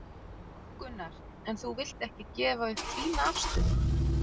Gunnar: En þú vilt ekki gefa upp þína afstöðu?